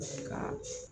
Ka